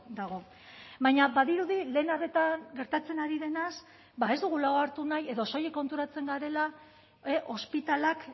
dago baina badirudi lehen arretan gertatzen ari denaz ba ez dugula hartu nahi edo soilik konturatzen garela ospitaleak